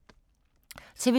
TV 2